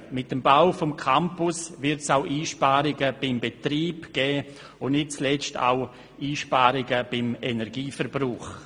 Mit dem Bau des Campus wird es auch Einsparungen beim Betrieb geben und nicht zuletzt beim Energieverbrauch.